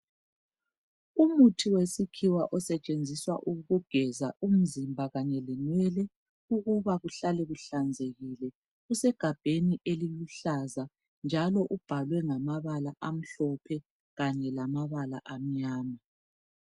Umuthi wesikhiwa osetshenziswa ukugeza umzimba, kanye lenwele ukuba kuhlale kuhlanzekile. Usegabheni eliluhlaza njalo ubhalwe ngamabala amhlophe kanye lamabala amnyama.